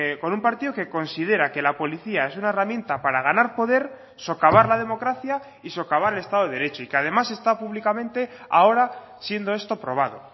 con un partido que considera que la policía es una herramienta para ganar poder socavar la democracia y socavar el estado de derecho y que además esta públicamente ahora siendo esto probado